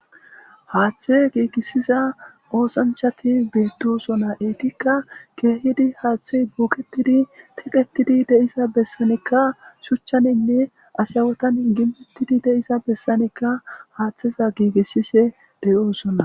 Haathe gigisiza osanchati betosona, Etika keehid haathey boetidi de'iza besanika shuchaninne ashawatan de'iza besanika haatheza giigisishe de'osona